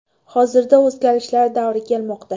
Hozirda o‘zgarishlar davri ketmoqda.